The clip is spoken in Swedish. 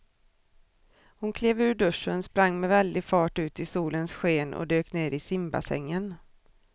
Hon klev ur duschen, sprang med väldig fart ut i solens sken och dök ner i simbassängen.